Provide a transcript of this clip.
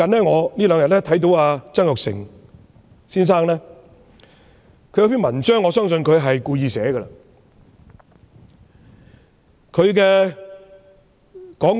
我近日看到曾鈺成先生一篇文章，我相信他是故意發表的。